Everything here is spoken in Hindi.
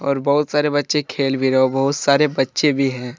और बहुत सारे बच्चे खेल भी रहे बहुत सारे बच्चे भी हैं।